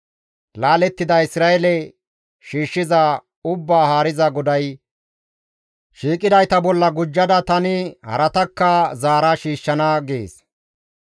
Laalettida Isra7eele shiishshiza, Ubbaa Haariza GODAY, «Shiiqidayta bolla gujja, tani haratakka zaara shiishshana» gees.